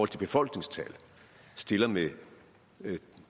til befolkningstal stiller med